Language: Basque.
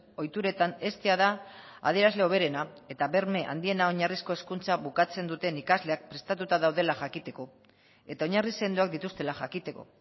ohituretan heztea da adierazle hoberena eta berme handiena oinarrizko hezkuntza bukatzen duten ikasleak prestatuta daudela jakiteko eta oinarri sendoak dituztela jakiteko